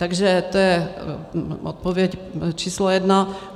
Takže to je odpověď číslo jedna.